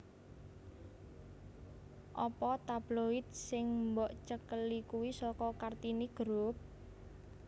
Opo tabloid sing mbok cekeli kui soko Kartini group